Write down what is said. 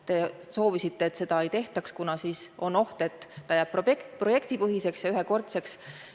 Te soovisite, et seda ei tehtaks, kuna siis on oht, et rahastus jääb projektipõhiseks ja ühekordseks.